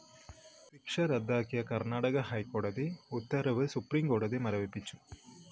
ശിക്ഷ റദ്ദാക്കിയ കര്‍ണാടക ഹൈക്കോടതി ഉത്തരവ് സുപ്രീം കോടതി മരവിപ്പിച്ചു